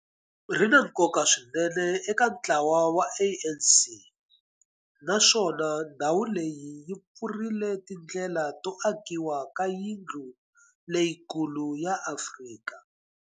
Ri na nkoka swinene eka ntlawa wa ANC, naswona ndhawu leyi yi pfurile tindlela to akiwa ka yindlu leyikulu ya Afrika.